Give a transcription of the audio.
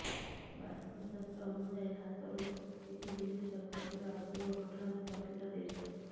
ବାସ୍ତୁଶାସ୍ତ୍ର ଅନୁଯାୟୀ ହାତରୁ କିଛି ଜିନିଷ ଖସିବା ଅଶୁଭ ଘଟଣାର ସଂଙ୍କେତ ଦେଇଥାଏ